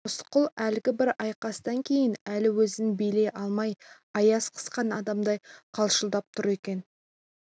рысқұл әлгі бір айқастан кейін әлі өзін билей алмай аяз қысқан адамдай қалшылдап тұр екен